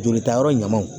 Jolita yɔrɔ ɲuman